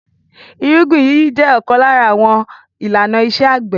Ìrúgbìn yíyí jẹ ọ̀kan lára àwọn àwọn ìlànà iṣẹ́-àgbẹ̀.